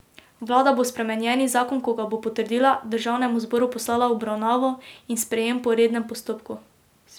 Vlada bo spremenjeni zakon, ko ga bo potrdila, državnem zboru poslala v obravnavo in sprejem po rednem postopku.